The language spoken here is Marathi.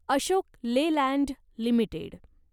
Ashok Leyland limited